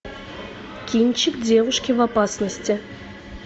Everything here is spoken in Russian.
кинчик девушки в опасности